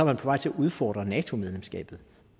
man på vej til at udfordre nato medlemskabet